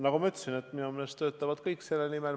Nagu ma ütlesin, töötavad minu meelest kõik selle nimel.